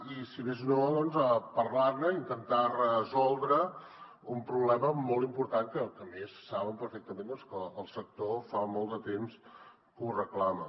i si més no parlar ne i intentar resoldre un problema molt important que a més saben perfectament que el sector fa molt de temps que ho reclama